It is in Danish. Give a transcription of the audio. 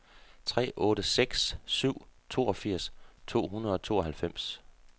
tre otte seks syv toogfirs to hundrede og tooghalvfems